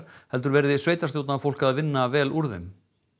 heldur verði sveitarstjórnarfólk að vinna vel úr þeim